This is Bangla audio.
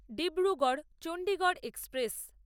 ডিব্রুগড় চন্ডিগড় এক্সপ্রেস